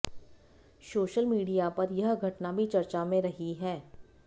social media पर यह घटना भी चर्चा में रही है